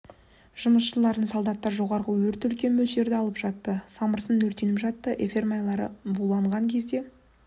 жұмысшыларын солдаттар жоғарғы өрт үлкен мөлшерді алып жатты самырсын өртеніп жатты эфир майлары буланған кезде